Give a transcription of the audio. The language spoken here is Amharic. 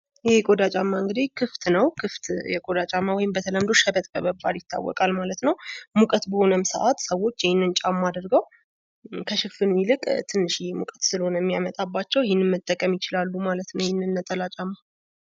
ይህ የቆዳ ጫማ እንግዲህ ክፍት ነው። ይህም በተለምዶ ሸበጥ በመባል ይታዎቃል ማለት ነው። ሙቀት በሆነም ሰዓት ሰዎች ይህንን ጫማ አድርገው ከሽፍን ትንሽዬ ሙቀት ስለሆነ የሚያመጣባቸው ይህንን መጠቀም ይችላሉ ማለት ነው። ይህንን ነጠላ ጫማ።